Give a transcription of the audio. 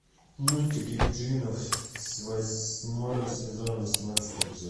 мультик екатерина восьмой сезон восемнадцатый эпизод